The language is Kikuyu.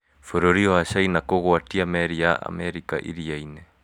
Bũrũri wa China kũgwatia meri ya Amerika iria-inĩ